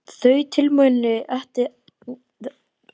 Þau tilmæli ættu ekki að koma neinum á óvart.